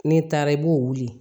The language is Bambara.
N'i taara i b'o wuli